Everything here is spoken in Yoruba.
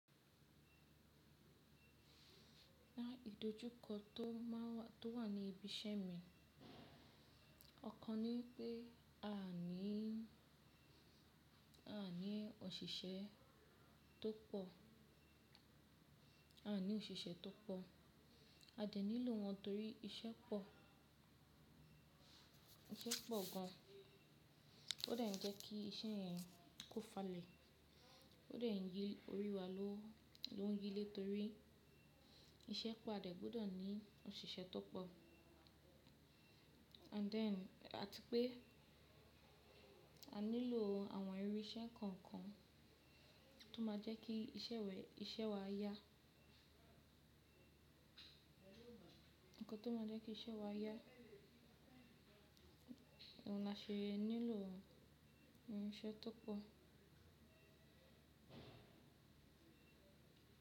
Idojú kọ tó má wà, tó wà ní ibi iṣẹ́ mi, ọ̀kan ní pé a ní, a ní òṣìṣẹ́ tó pọ̀, a ní òṣìṣẹ́ tó pọ̀, a dẹ nílò wọ́n torí iṣẹ́ pọ̀, iṣẹ́ pọ̀ gan an. Ó de n jẹ́ kí iṣẹ́ yẹn kó falẹ̀, ó de n yi orí wa ló, ló ń yí lé torí iṣẹ́ pọ̀ a de gbudọ̀ ní òṣìṣẹ́ tó pọ̀. And then àti pé a nílò àwọn irú iṣẹ́ kọ̀ọ̀kan tó máa jẹ́ kí iṣẹ́ wẹ, iṣẹ́ wa yá. Ǹkan tó máa jẹ́ kí iṣẹ́ wa yá, ohun náà ṣe nílò irin iṣẹ́ tó pọ̀.